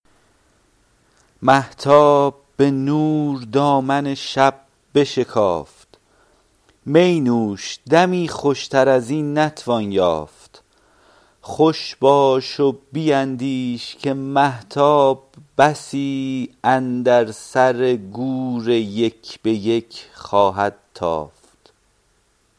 مهتاب به نور دامن شب بشکافت می نوش دمی خوشتر از این نتوان یافت خوش باش و بیندیش که مهتاب بسی اندر سر گور یک به یک خواهد تافت